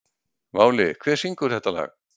Váli, hver syngur þetta lag?